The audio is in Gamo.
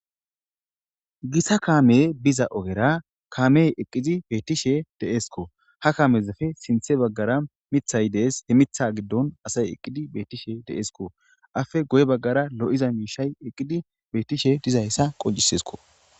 Gita kaame biza ogera kaame eqqizi beettishe deesko ha kaamezafe sinthe baggara mithay dees he mitha giddon asay eqqidi bettishe deesko afe goy baggara lo7iza miishay eqqidi beettishe dizayssa qojisesko